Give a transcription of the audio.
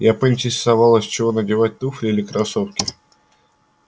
я поинтересовалась чего надевать туфли или кроссовки